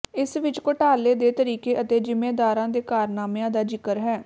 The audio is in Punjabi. ਇਸ ਵਿੱਚ ਘੋਟਾਲੇ ਦੇ ਤਰੀਕੇ ਅਤੇ ਜਿੰਮੇਦਾਰਾਂ ਦੇ ਕਾਰਨਾਮਿਆਂ ਦਾ ਜ਼ਿਕਰ ਹੈ